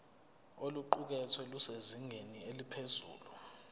oluqukethwe lusezingeni eliphezulu